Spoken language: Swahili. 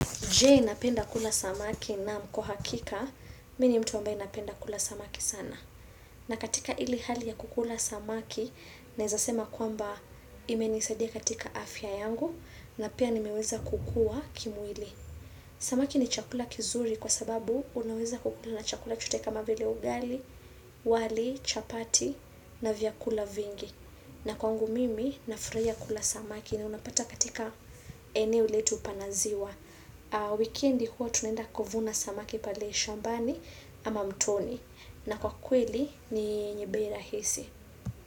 Je napenda kula samaki naam kwa hakika, mi ni mtu ambaye napenda kula samaki sana. Na katika ile hali ya kukula samaki, naeza sema kwamba imenisadia katika afya yangu, na pia nimeweza kukua kimwili. Samaki ni chakula kizuri kwa sababu unaweza kukula na chakula chote kama vile ugali, wali, chapati, na vyakula vingi. Na kwangu mimi nafuraia kula samaki na unapata katika eneo letu pana ziwa. Wikendi huwa tunaenda kuvuna samaki pale shambani ama mtoni. Na kwa kweli ni yenye bei rahisi.